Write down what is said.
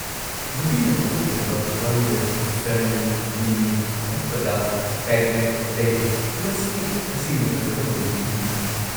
ꯅꯨꯄꯤꯅ ꯃꯄꯨꯡ ꯑꯣꯏꯕ ꯋꯥꯔꯤꯗꯁꯨ ꯁꯔꯅꯤ, ꯃꯤꯃꯤ, ꯊꯞꯄꯗꯥ, ꯄꯦꯒ꯭ꯂꯦꯠ ꯂꯩꯔꯤ, ꯃꯁꯤ ꯇꯁꯦꯡꯅ ꯐꯖꯕ ꯃꯃꯤ-ꯀꯨꯝꯍꯩꯅꯤ꯫